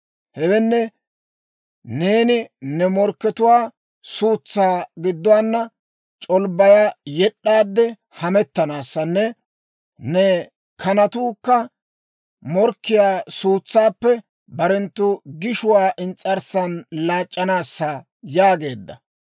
Hewenne, neeni ne morkkatuwaa, suutsaa gidduwaana c'olbbaya yed'd'aade hamettanaassanne; ne kanatuukka morkkiyaa suutsaappe, barenttu gishuwaa ins's'arssan laac'c'anaassa» yaageedda.